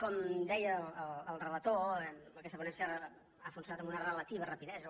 com deia el relator aquesta ponència ha funcionat amb una relativa rapidesa